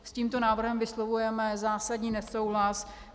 S tímto návrhem vyslovujeme zásadní nesouhlas.